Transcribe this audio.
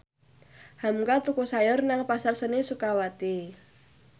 hamka tuku sayur nang Pasar Seni Sukawati